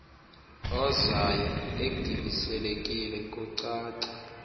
ozayo egibiselekile kukucaca